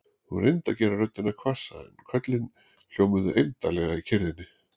Hún reyndi að gera röddina hvassa en köllin hljómuðu eymdarlega í kyrrðinni.